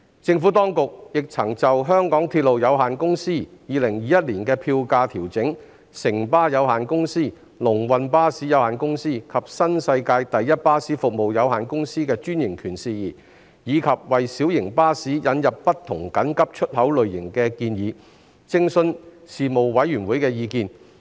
政府當局亦曾就香港鐵路有限公司2021年票價調整；城巴有限公司、龍運巴士有限公司及新世界第一巴士服務有限公司的專營權事宜；及為小型巴士引入不同緊急出口類型的建議，徵詢事務委員會的意見。